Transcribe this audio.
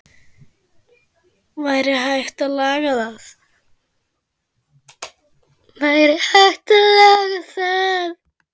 Væri hægt að laga það?